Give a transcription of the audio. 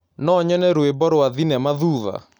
no nyone rwĩmbo rwa thĩnema thũtha